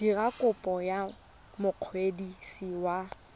dira kopo go mokwadisi wa